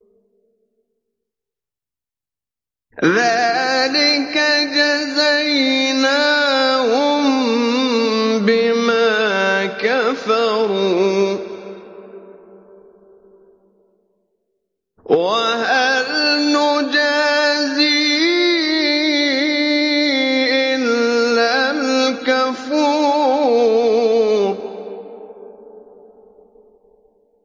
ذَٰلِكَ جَزَيْنَاهُم بِمَا كَفَرُوا ۖ وَهَلْ نُجَازِي إِلَّا الْكَفُورَ